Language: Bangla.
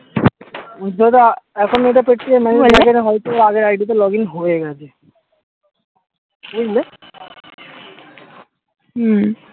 যেটা এখন এটা হয়তো আগের ID তে login হয়ে গেছে বুঝলে হম